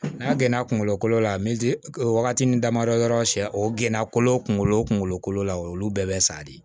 N'a gɛnna kungolo kolo la o wagati ni damadɔ yɔrɔ sɛn o gana kolo kunkolo o kunkolo kolo la o y'olu bɛɛ bɛ sa de